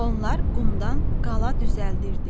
Onlar qumdan qala düzəldirdilər.